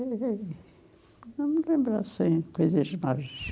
Eu me lembro assim, coisas